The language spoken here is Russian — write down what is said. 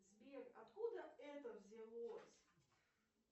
сбер откуда это взялось